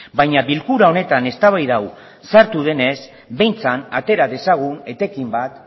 baina bilkura honetan eztabaida hau sartu denez behintzat atera dezagun etekin bat